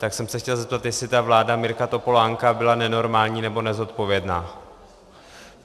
Tak jsem se chtěl zeptat, jestli ta vláda Mirka Topolánka byla nenormální nebo nezodpovědná.